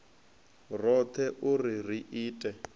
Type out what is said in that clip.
roṱhe u ri ri ite